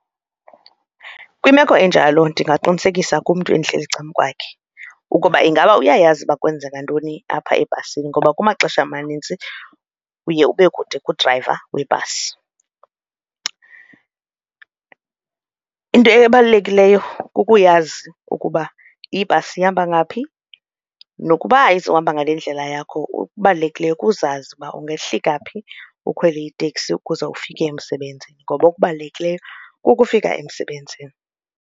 Kwimeko enjalo ndingaqinisekisa kumntu endihleli ecakwakhe ukuba ingaba uyayazi uba kwenzeka ntoni apha ebhasini ngoba kumaxesha amanintsi uye ube kude kudrayiva webhasi. Into ebalulekileyo kukuyazi ukuba ibhasi ihamba ngaphi nokuba izohamba ngale ndlela yakho okubalulekileyo kuzazi uba ungehlika phi ukhwele itekisi ukuze ufike emsebenzini ngoba okubalulekileyo kukufika emsebenzini.